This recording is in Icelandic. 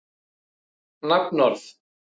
Bundinn aftur með snærisspotta.